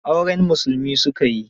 Auren musulmi su ka yi.